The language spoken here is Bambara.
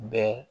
Bɛɛ